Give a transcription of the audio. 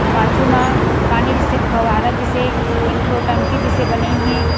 पाछु मा पानी जैसे फव्वारा जैसे एक ठो टंकी जैसे बनिन हे।